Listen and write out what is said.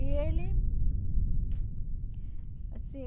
E ele... Assim...